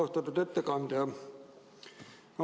Austatud ettekandja!